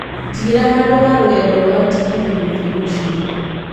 njigĩra handũ ha rũgendo rwaa tegithi gũthiĩ mũciĩ